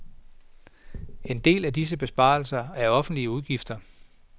En del af disse besparelser er offentlige udgifter.